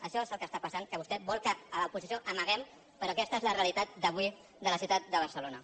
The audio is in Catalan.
això és el que està passant que vostè vol que l’oposició ho amaguem però aquesta és la realitat d’avui de la ciutat de barcelona